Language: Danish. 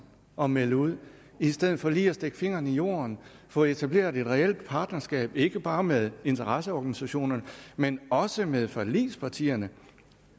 og melde ud i stedet for lige at stikke fingeren i jorden få etableret et reelt partnerskab ikke bare med interesseorganisationerne men også med forligspartierne